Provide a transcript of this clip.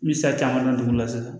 Me sa caman ta dugu la sisan